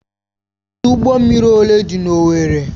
ọdụ ụgbọ mmiri ole dị n'Owerri?